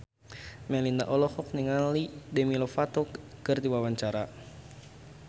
Melinda olohok ningali Demi Lovato keur diwawancara